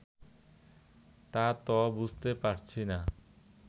তা ত বুঝতে পারছি না